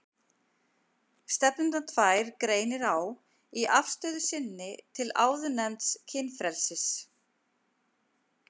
Stefnurnar tvær greinir á í afstöðu sinni til áðurnefnds kynfrelsis.